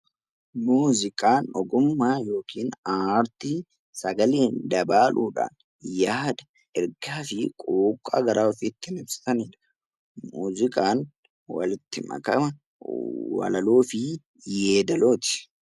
Muuziqaan ogummaa yookiin aartii sagaleen dabaaluudhaan yaada, ergaa fi quuqqaa garaa ofii ittiin ibsanidha. Muuziqaan walitti makama walaloo fi yeedalooti.